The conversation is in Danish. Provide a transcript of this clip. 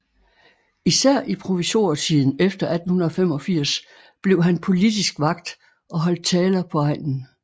Især i provisorietiden efter 1885 blev han politisk vakt og holdt taler på egnen